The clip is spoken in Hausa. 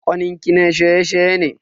Kanin ki na shaye-shaye ne?